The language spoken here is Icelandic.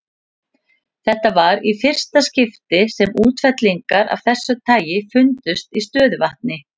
Þetta var í fyrsta skipti sem útfellingar af þessu tagi fundust í stöðuvatni.